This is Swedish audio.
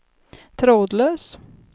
trådlös